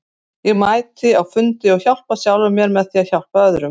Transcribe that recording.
Ég mæti á fundi og hjálpa sjálfum mér með því að hjálpa öðrum.